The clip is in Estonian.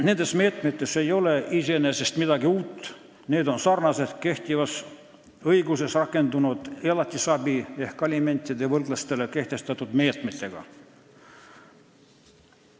Nendes meetmetes ei ole iseenesest midagi uut, need sarnanevad kehtivas õiguses rakendunud elatisabi- ehk alimentidevõlglastele kehtestatud meetmetega.